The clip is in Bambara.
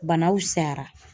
Bana fusayara